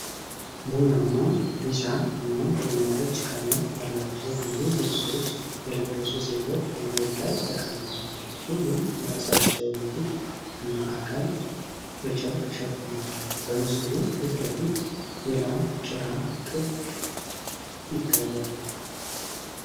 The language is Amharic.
ቡናማ፣ ቢጫ እና ወይንጠጅ ቀለም ያላቸው ሙሉ ልብሶች የለበሱ ሴቶች በመሬት ላይ ተቀምጠዋል። ሁሉም የራሳቸውን ፊት እና አካል በጨርቅ ሸፍነዋል። በምስሉ ፊት ለፊት የላም ጭራ ጥግ ይታያል፡፡